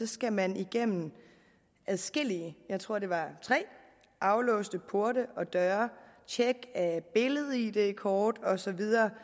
skal man igennem adskillige jeg tror det var tre aflåste porte og døre tjek af billed id kort og så videre